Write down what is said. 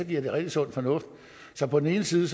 det rigtig sund fornuft så på den ene side